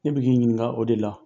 Ne be k'i ɲininga o de la.